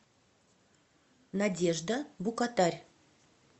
надежда букатарь